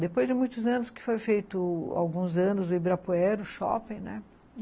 Depois de muitos anos, que foi feito alguns anos, o Ibirapuera, o shopping, né?